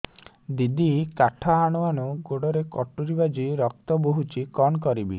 ଦିଦି କାଠ ହାଣୁ ହାଣୁ ଗୋଡରେ କଟୁରୀ ବାଜି ରକ୍ତ ବୋହୁଛି କଣ କରିବି